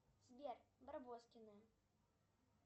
сбер барбоскины